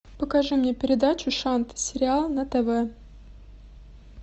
покажи мне передачу шант сериал на тв